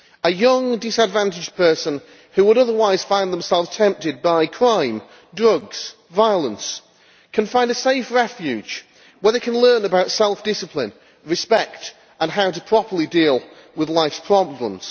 A young disadvantaged person who would otherwise find themselves tempted by crime, drugs and violence can find a safe refuge where they can learn about self discipline, respect and how to properly deal with life's problems.